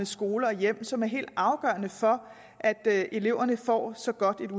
skole og hjem som er helt afgørende for at eleverne får så godt et